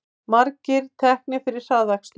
Margir teknir fyrir hraðakstur